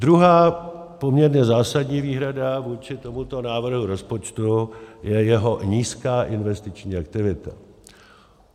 Druhá poměrně zásadní výhrada vůči tomuto návrhu rozpočtu je jeho nízká investiční aktivita.